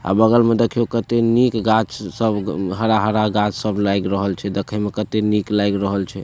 अ बगल में देखीयों केते निक गाछ सब हरा-हरा गाछ सब लाग रहल छै देखे में केते निक लाग रहल छै।